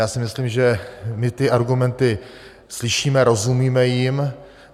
Já si myslím, že my ty argumenty slyšíme, rozumíme jim.